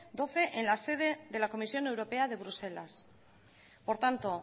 doce en la sede de la comisión europea de bruselas por tanto